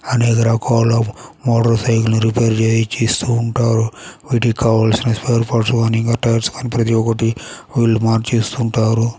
అనేక రకాల motor cycle repair చై చేస్తూ ఉంటారు . వీటికి కావలసిన స్పేర్ పార్ట్స్ కానీ ప్రతి ఒకటి వీలు మార్చేస్తు ఉంటారు.